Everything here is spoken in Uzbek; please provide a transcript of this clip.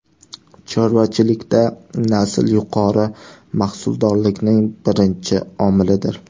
Chorvachilikda nasl yuqori mahsuldorlikning birinchi omilidir.